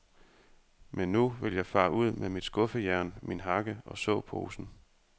Men nu vil jeg fare ud med mit skuffejern, min hakke og såposen.